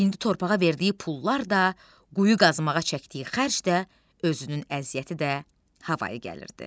İndi torpağa verdiyi pullar da, quyu qazmağa çəkdiyi xərc də, özünün əziyyəti də havayı gəlirdi.